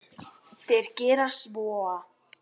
Þeir gera svo.